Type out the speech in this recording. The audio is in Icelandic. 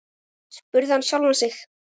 spurði hann sjálfan sig.